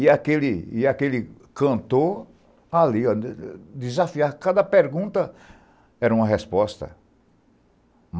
E aquele cantor ali, desafiando cada pergunta, era uma resposta.